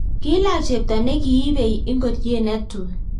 kiilach chepto ne kiibei ngorie ne tui